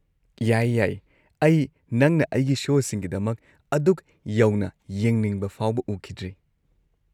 ꯌꯥꯏꯌꯦ ꯌꯥꯏꯌꯦ, ꯑꯩ ꯅꯪꯅ ꯑꯩꯒꯤ ꯁꯣꯁꯤꯡꯒꯤꯗꯃꯛ ꯑꯗꯨꯛ ꯌꯧꯅ ꯌꯦꯡꯅꯤꯡꯕ ꯐꯥꯎꯕ ꯎꯈꯤꯗ꯭ꯔꯤ!